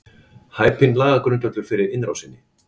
Hæpinn lagagrundvöllur fyrir innrásinni